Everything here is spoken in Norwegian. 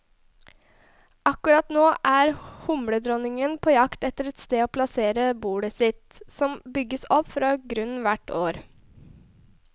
Akkurat nå er humledronningene på jakt etter et sted å plassere bolet sitt, som bygges opp fra grunnen hvert år.